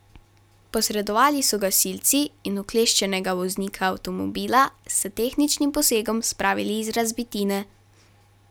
Posredovali so gasilci in ukleščenega voznika avtomobila s tehničnim posegom spravili iz razbitine.